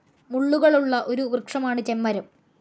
മുള്ളുകളുള്ള ഒരു വൃക്ഷമാണ്‌ ചെമ്മരം.